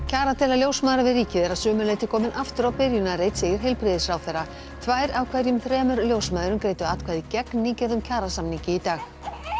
kjaradeila ljósmæðra við ríkið er að sumu leyti komin aftur á byrjunarreit segir heilbrigðisráðherra tvær af hverjum þremur ljósmæðrum greiddu atkvæði gegn nýgerðum kjarasamningi í dag